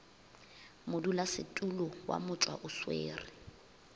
modulasetulo wa motšwa o swere